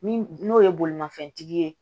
Min n'o ye bolimafɛntigi ye